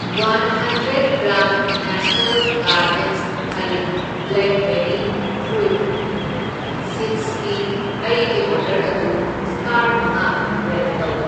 One hundred gram national gardens ꯍꯩꯕ꯭ꯂꯦꯛꯕꯦꯔꯤ fruit ꯁꯤꯗꯁꯀꯤ ꯑꯩꯒꯤ ꯑꯣꯔꯗꯔ ꯑꯗꯨ ꯁꯇꯥꯔ ꯃꯉꯥ ꯔꯦꯠ ꯇꯧ꯫